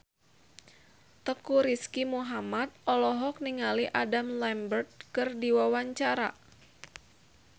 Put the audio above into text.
Teuku Rizky Muhammad olohok ningali Adam Lambert keur diwawancara